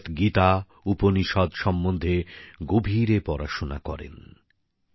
ভগবত গীতা উপনিষদ সম্বন্ধে গভীরে পড়াশোনা করেন